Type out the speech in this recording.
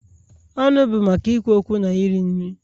Ọnụ bụ maka ikwu okwu na iri nri.